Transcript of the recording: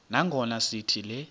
nangona sithi le